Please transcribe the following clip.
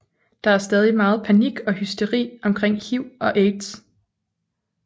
Der er stadig meget panik og hysteri omkring HIV og AIDS